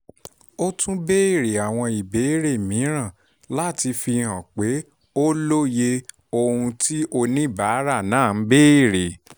ó tún béèrè àwọn ìbéèrè mìíràn láti fihàn pé ó lóye ohun tí oníbàárà náà béèrè